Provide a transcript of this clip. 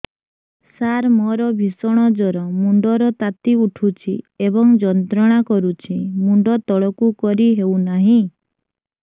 ସାର ମୋର ଭୀଷଣ ଜ୍ଵର ମୁଣ୍ଡ ର ତାତି ଉଠୁଛି ଏବଂ ଯନ୍ତ୍ରଣା କରୁଛି ମୁଣ୍ଡ ତଳକୁ କରି ହେଉନାହିଁ